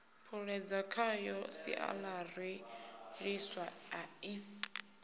puṱedza khayo siaṱari ḽiswa ḽi